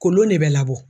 Kolon de bɛ labɔ